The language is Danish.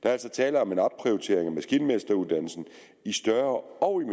er altså tale om en opprioritering af maskinmesteruddannelsen i større og